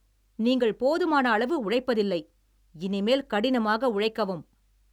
நீங்கள், போதுமன அளவு உழைப்பதில்லை, இனிமேல் கடினமாக உழைக்கவும்.